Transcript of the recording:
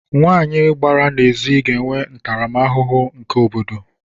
Nwanyị gbara n’ezi ga-enwe ntaramahụhụ n’aka obodo